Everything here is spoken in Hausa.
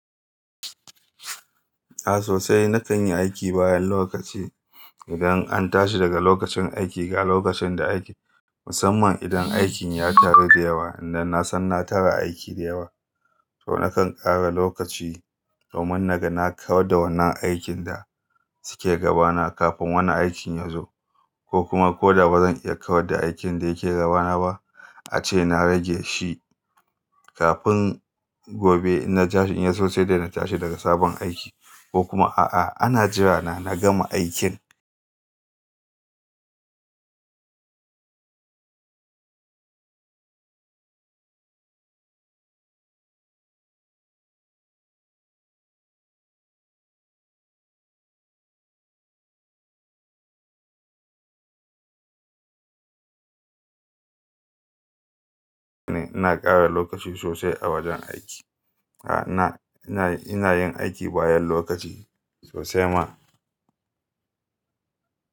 A sosai na kan yi aiki bayan lokaci. Idan an tashi daga lokacin aiki ga lokacin da aiki, musamman idan aikin ya taru da yawa, idan na san na tara aiki da yawa to na kan ƙara lokaci domin naga na kawar da wannan aikin da suke gabana kafin wani aikin ya zo ko kuma ko da ba zan iya kawar da aikin da yake gabana ba ace na rage shi kafin gobe in na tashi in ya so sai dai na tashi daga sabon aiki ko kuma a'a ana jira na gama aikin. Ina ƙara lokaci sosai a wajen aiki. A na, ina, ina yin aiki bayan lokaci sosai ma.